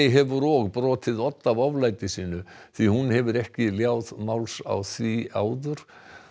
hefur og brotið odd af oflæti sínu því hún hefur ekki léð máls á því áður